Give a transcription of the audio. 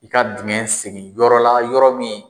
I ka digɛn sege yɔrɔ la yɔrɔ min.